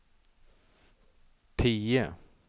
tio